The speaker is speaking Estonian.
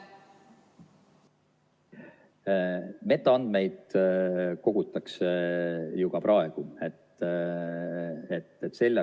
Metaandmeid kogutakse ju ka praegu.